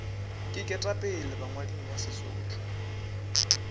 ke ketapele bangwading ba sesotho